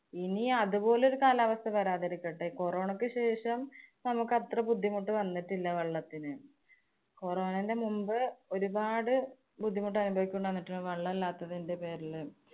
ഇനി അതുപോലൊരു കാലാവസ്ഥ വരാതിരിക്കട്ടെ. corona യ്ക്ക് ശേഷം നമുക്ക് അത്ര ബുദ്ധിമുട്ട് വന്നിട്ടില്ല വെള്ളത്തിന്. corona ന്‍റെ മുമ്പ് ഒരുപാട് ബുദ്ധിമുട്ടനുഭവിക്കേണ്ടി വന്നിട്ടുണ്ട് വെള്ളം ഇല്ലാത്തതിന്‍റെ പേരില്.